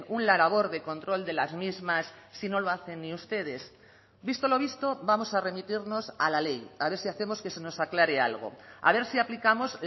una labor de control de las mismas si no lo hacen ni ustedes visto lo visto vamos a remitirnos a la ley a ver si hacemos que se nos aclare algo a ver si aplicamos